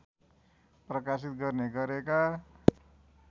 प्रकाशित गर्ने गरेका